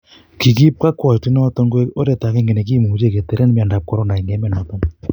kikiip kokwout inoton koig oret agenge negimuche keteren miondap Corona en emonoton.